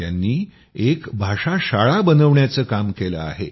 त्यांनी एक भाषाशाळा बनविण्याचं काम केलं आहे